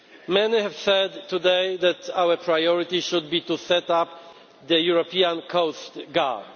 Many have said today that our priority should be to set up the European Coast Guard.